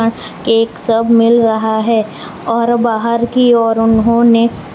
cake सब मिल रहा है और बाहर की ओर उन्होंने --